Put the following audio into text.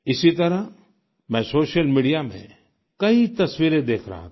इसी तरह मैं सोशल मीडिया में कई तस्वीरें देख रहा था